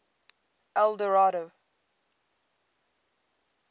eldorado